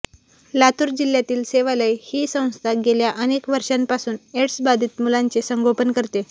लातूर जिल्ह्यातील सेवालय ही संस्था गेल्या अनेक वर्षांपासून एड्सबाधित मुलांचे संगोपन करते